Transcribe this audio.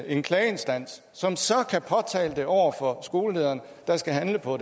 en klageinstans som så kan påtale det over for skolelederen der skal handle på